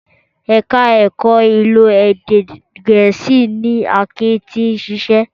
Ẹ̀ka ẹ̀kọ́ ìlò èdè Gẹ̀ẹ́sì ni Akin ti ń ṣiṣẹ́